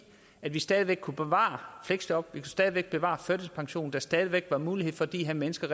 vi stadig væk kunne bevare fleksjobbene stadig væk bevare førtidspensionen så der stadig væk var mulighed for de her mennesker